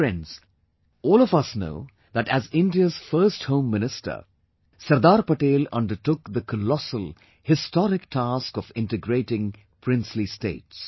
Friends, all of us know that as India's first home minister, Sardar Patel undertook the colossal, historic task of integrating Princely states